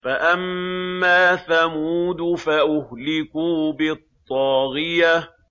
فَأَمَّا ثَمُودُ فَأُهْلِكُوا بِالطَّاغِيَةِ